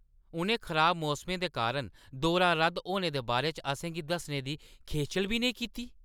उʼनें खराब मौसमै दे कारण दौरा रद्द होने दे बारे च असें गी दस्सने दी खेचल बी नेईं कीती।